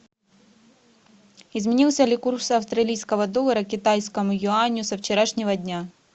изменился ли курс австралийского доллара к китайскому юаню со вчерашнего дня